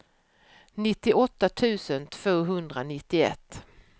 nittioåtta tusen tvåhundranittioett